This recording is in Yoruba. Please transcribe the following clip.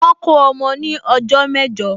Wọ́n kó ọmọ ní ọjọ́ mẹ́jọ